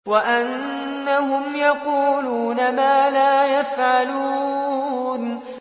وَأَنَّهُمْ يَقُولُونَ مَا لَا يَفْعَلُونَ